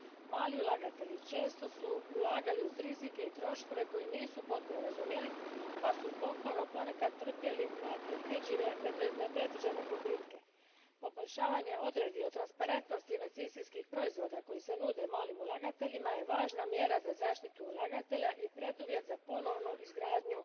Mali ulagatelji često su ulagali uz rizike i troškove koje nisu potpuno razumjeli pa su zbog toga ponekad trpjeli nepredviđene gubitke. Poboljšavanje odredbi o transparentnosti investicijskih proizvoda koji se nude malim ulagateljima je važna mjera za zaštitu ulagatelja i preduvjet za ponovnu izgradnju